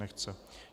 Nechce.